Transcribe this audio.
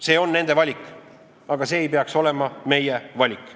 See on nende valik, aga see ei peaks olema meie valik.